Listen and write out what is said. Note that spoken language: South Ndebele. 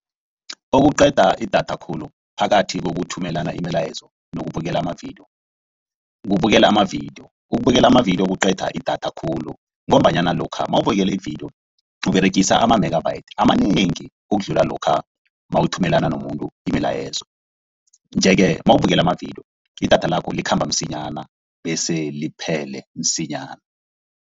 Okuqeda idatha khulu phakathi kokuthumelana imilayezo nokubukela amavidiyo. Kubukela amavidiyo, ukubukela amavidiyo kuqeda idatha khulu ngombanyana lokha nawubukela ividiyo, uberegisa ama-megabytes amanengi ukudlula lokha mawuthumela nomuntu imilayezo. Nje-ke nawubukela amavidiyo idatha lakho likhamba msinyana bese liphele msinyana.